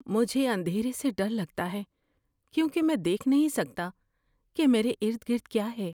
مجھے اندھیرے سے ڈر لگتا ہے کیونکہ میں دیکھ نہیں سکتا کہ میرے ارد گرد کیا ہے۔